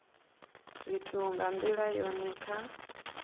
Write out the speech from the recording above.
zwithu nga ndila yone kha